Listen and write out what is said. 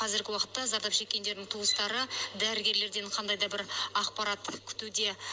қазіргі уақытта зардап шеккендердің туыстары дәрігерлерден қандай да бір ақпарат күтуде